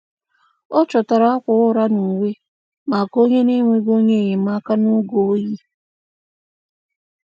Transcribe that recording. Ọ chọtara akwa ụra na uwe maka onye na-enweghị onye enyemaka n'oge oyi.